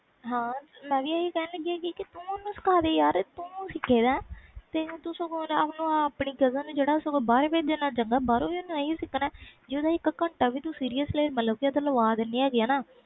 ਹਾਂ ਮੈਂ ਵੀ ਹੀ ਕਹਿ ਲੱਗੀ ਸੀ ਕਿ ਤੁਸੀ ਸਿਖਦੇ ਯਾਰ ਤੂੰ ਸਿੱਖਿਆ ਤੇ ਗਗਨ ਨੂੰ ਬਹਾਰ ਭੇਜਣ ਨਾਲੋਂ ਚੰਗਾ ਆ ਅਗਰ ਤੂੰ ਇਕ ਘੰਟਾ ਵੀ ਘਰ ਲਾਵਾਂ ਦੇਣੀ ਆ